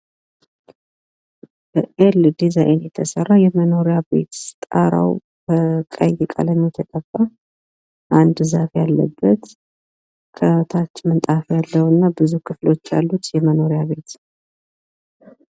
በኤል ዲዛይን የተሰራ የመኖሪያ ቤት ጣራው ቀይ ቀለም የተቀባ፥ አንድ ዛፍ ያለበት፥ ምንጣፍ ያለውና ብዙ ክፍሎች ያሉት የመኖሪያ ቤት ነው።